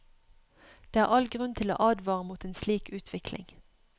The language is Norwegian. Det er all grunn til å advare mot en slik utvikling.